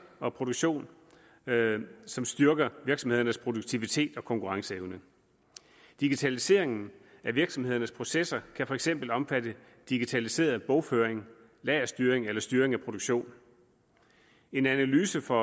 og produktion som styrker virksomhedernes produktivitet og konkurrenceevne digitaliseringen af virksomhedernes processer kan for eksempel omfatte digitaliseret bogføring lagerstyring eller styring af produktion en analyse fra